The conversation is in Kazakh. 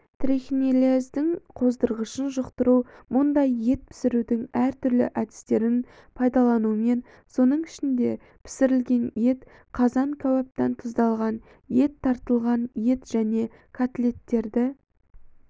трихинеллездің қоздырғышын жұқтыру мұндай ет пісірудің әртүрлі әдістерін пайдаланумен соның ішінде пісірілген ет қазан кәуаптан тұздалған ет тартылған ет және котлеттерді